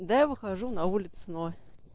да я выхожу на улицу но